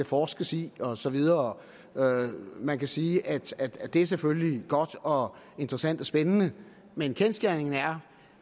forskes i og så videre man kan sige at at det selvfølgelig er godt og interessant og spændende men kendsgerningen er